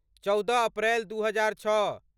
चौदह अप्रैल दू हजार छओ